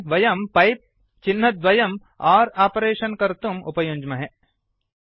एवम् वयं पैप् चिह्नद्वयं आर् आपरेषन् कर्तुं उपयुञ्ज्महे